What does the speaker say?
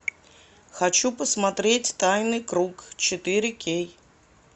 хочу посмотреть тайный круг четыре кей